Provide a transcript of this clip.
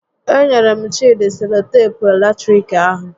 E nyere m Chịdị seloteepu latiriki ahụ